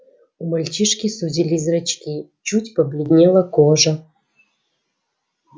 у мальчишки сузились зрачки чуть побледнела кожа